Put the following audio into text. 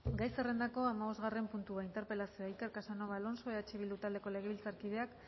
gai zerrendako hamabostgarren puntua interpelazioa iker casanova alonso eh bildu taldeko legebiltzarkideak